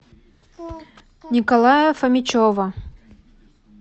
николая фомичева